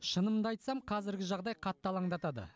шынымды айтсам қазіргі жағдай қатты алаңдатады